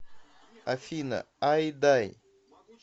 афина айдай